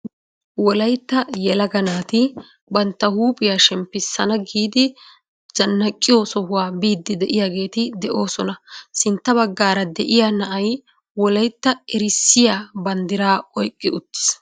Wollaytta yelaga naati bantta huuphphiyaa shemppisana giidi zannaqiyoo sohuwaa biiddi de'iyaageti de'oosona. sintta baggaara de'iyaa na'ay wollaytta erissiyaa banddiraa oyqqi uttis.